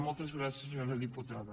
moltes gràcies senyora diputada